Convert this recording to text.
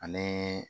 Ani